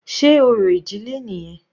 Sé orò ìdílé nìyẹn?